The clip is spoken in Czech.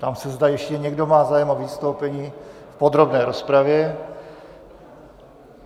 Ptám se, zda ještě někdo má zájem o vystoupení v podrobné rozpravě.